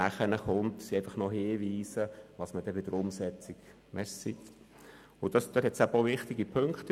Was folgt sind Hinweise, welche bei der Umsetzung zu beachten sind.